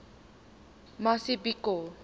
mazibuko